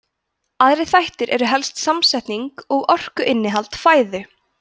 aðrir þættir eru helstir samsetning og orkuinnihald fæðu